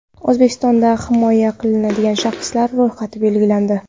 O‘zbekistonda himoya qilinadigan shaxslar ro‘yxati belgilandi.